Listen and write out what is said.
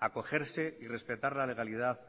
a cogerse y respetar la legalidad